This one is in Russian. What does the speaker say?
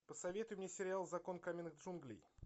посоветуй мне сериал закон каменных джунглей